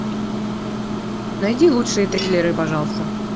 найди лучшие триллеры пожалуйста